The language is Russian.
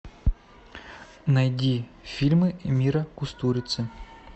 найди фильмы мира кустурицы